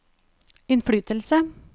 innflytelse